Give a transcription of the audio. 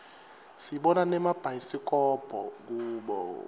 sibona nemabhayisikobho kubo